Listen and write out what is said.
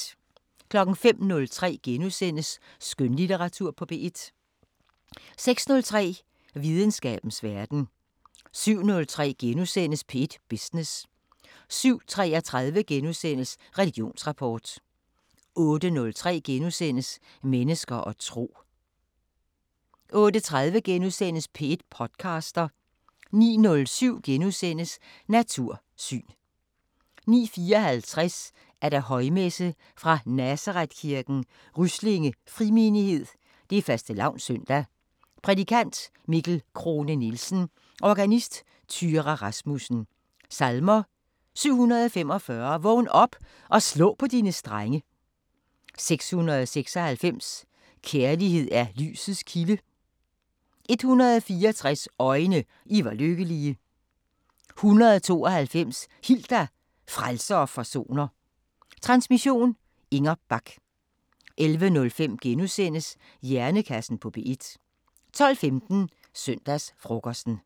05:03: Skønlitteratur på P1 * 06:03: Videnskabens Verden 07:03: P1 Business * 07:33: Religionsrapport * 08:03: Mennesker og tro * 08:30: P1 podcaster * 09:07: Natursyn * 09:54: Højmesse - Fra Nazarethkirken, Ryslinge Frimenighed Fastelavns søndag. Prædikant: Mikkel Crone Nielsen. Organist: Thyra Rasmussen. Salmer: 745: Vågn op og slå på dine strenge 696: Kærlighed er lysets kilde 164: Øjne, I var lykkelige 192: Hil dig, Frelser og Forsoner Transmission: Inger Bach. 11:05: Hjernekassen på P1 * 12:15: Søndagsfrokosten